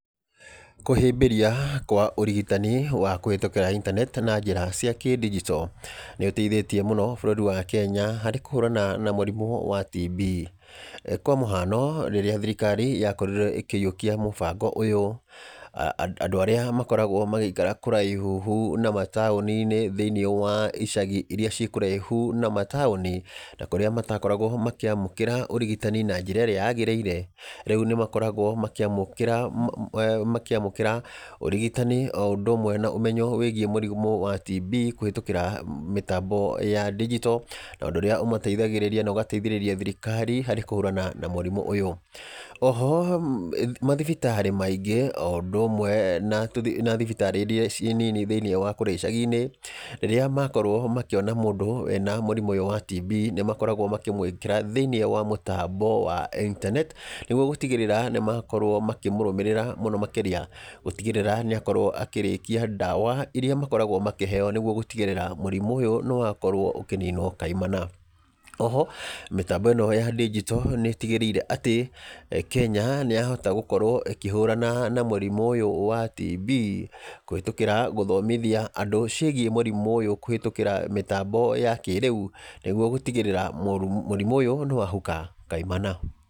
Kũhĩbĩria kwa ũrigitani, wa kũhetũkĩra intaneti na njĩra cia kĩndigito, nĩ ũteithĩtie mũno bũrũri wa Kenya harĩ kũhũrana na mũrimũ wa TB, kwa mũhano, rĩrĩa thirikari yakorirwo ikĩyĩokia mũbango ũyũ, a andũ arĩa makoragwo magĩikara kũraihu na mataũninĩ thĩinĩ wa icagi iria cikũraihũ na mataũni, na kũrĩa matakoragwo makĩamũkĩra ũrigitani na njĩra ĩrĩa yagĩrĩire, rĩu nĩ makoragwo makĩamũkĩra mũ eeh makĩamũkĩra ũrigitani o ũndũ ũmwe na ũmenyo wĩgiĩ mũrimũ wa TB, kũhetũkĩra mĩtambo ya ndigito, na ũndũ ũrĩa ũmateithagĩrĩria na ugateithĩrĩria thirikari, harĩ kũhũrana na mũrimũ ũyũ, oho mathibitarĩ maingĩ o ũndũ ũmwe na tũo thi na thibitarĩ iria ci nini thĩinĩ wa kũrĩa icagi-inĩ, rĩrĩa makorwo makĩona mũdũ ena mũrimũ ũyũ wa TB, nĩ makoragwo makĩmwĩkĩra thĩinĩ wa mũtambo wa intaneti, nĩguo gũtigĩrĩra nĩ makorwo makĩmũrũmĩrĩra mũno makĩria, gũtigĩrĩra nĩ akorwo akĩrĩkia ndawa iria makoragwo makĩheyo nĩguo gũtigĩrĩra mũrimũ ũyũ nĩ wakorwo ũkĩninwo kaimana, oho mĩtambo ĩno ya ndigito nĩ ĩtigĩrĩire atĩ Kenya nĩyahota gũkorwo ĩkĩhũirana na mũrimũ ũyũ wa TB, kũhetũkĩra gũthomithia andũ ciĩgiĩ mũrimũ ũyũ, kũhetũkĩra mĩtambo ya kĩrĩu, nĩguo gũtigĩrĩra mũrimũ ũyũ nĩ wahuka kaimana.